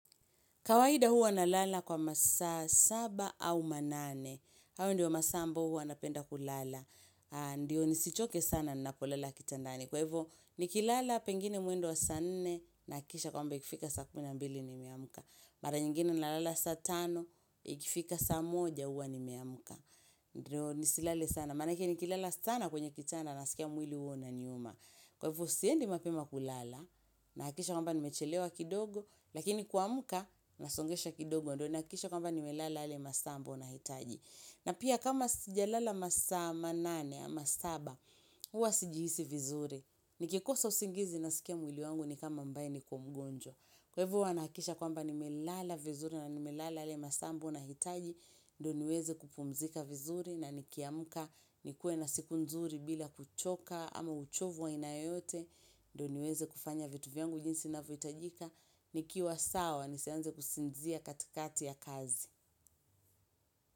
Kawaida huwa na lala kwa masaa saba au manane. Hayo ndiyo masaa ambao huwa napenda kulala. Ndiyo nisichoke sana na kulala kitandani. Kwahivo nikilala pengine mwendo wa saa nne nahakisha kwamba ikifika saa kumi na mbili ni meamka. Mara nyingine na lala saa tano ikifika saa moja huwa ni meamka. Ndiyo nisilale sana. Manake nikilala sana kwenye kitanda nasikia mwili huo unaniuma. Kwa hivo siendi mapema kulala nahakikisha kwamba nimechelewa kidogo. Lakini kuamka nasongesha kidogo ndo nahakikishe kwamba ni melala yale masaa ambao na hitaji na pia kama sija lala masaa ma nane ama saba huwa sijihisi vizuri Nikikosa usingizi naskia mwili wangu ni kama ambae ni ko mgonjwa Kwa hivo huwa nahakikisha kwa mba ni melala vizuri na ni melala yale masaa ambayo na hitaji ndo niweze kupumzika vizuri na nikiamka nikue na siku nzuri bila kuchoka ama uchovu wa aina yoyote ndo niweze kufanya vitu vyangu jinsi ina vyohitajika ni kiwa sawa ni sianze kusinzia katikati ya kazi.